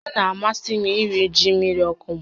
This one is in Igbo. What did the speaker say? Ọ na-amasị m iri ji mmiri ọkụ m